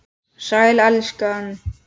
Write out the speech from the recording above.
Sæl, elskan.